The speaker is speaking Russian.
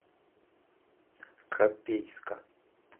копейска